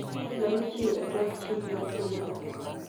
Lowo nochiw e tok chik mar pogo lowo